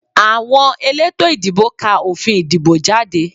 Àwọn elétò ìdìbò ká òfin ìdìbò jáde